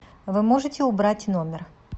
вы можете убрать номер